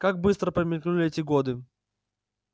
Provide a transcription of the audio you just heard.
как быстро промелькнули эти годы